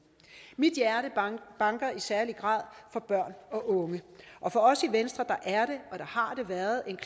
mit hjerte banker i særlig grad for børn og unge og for os i venstre er det og har det været en